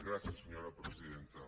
gràcies senyora presidenta